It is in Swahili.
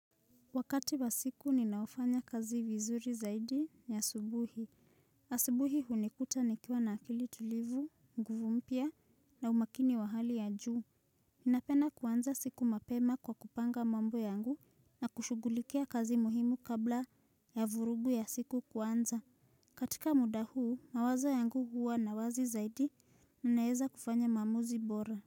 Wakati wa siku ninayofanya kazi vizuri zaidi ni asubuhi. Asubuhi hunikuta nikiwa na akili tulivu, nguvu mpya na umakini wa hali ya juu. Ninapenda kuanza siku mapema kwa kupanga mambo yangu na kushugulikia kazi muhimu kabla ya vurugu ya siku kuanza. Katika muda huu, mawazo yangu huwa na uwazi zaidi, ninaeza kufanya maamuzi bora.